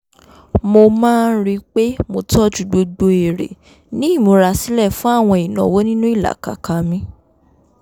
mo máa ń rí i pé mo tọ́jú gbogbo èrè ní ìmúra sílẹ̀ fún àwọn ìnáwó nínú ìlàkàkà mi